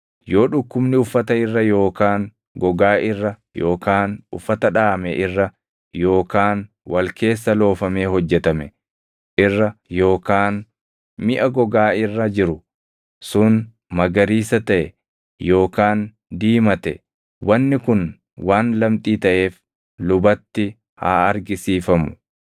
yoo dhukkubni uffata irra yookaan gogaa irra yookaan uffata dhaʼame irra yookaan wal keessa loofamee hojjetame irra yookaan miʼa gogaa irra jiru sun magariisa taʼe yookaan diimate wanni kun waan lamxii taʼeef lubatti haa argisiifamu.